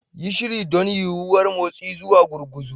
Yi shiri don yuwuwar motsi zuwa gurguzu.